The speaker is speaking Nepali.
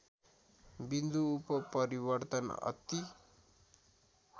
बिन्दु उत्परितर्वन अति